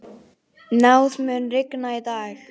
Náð, mun rigna í dag?